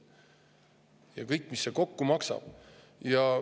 Ja mis see kõik kokku maksab?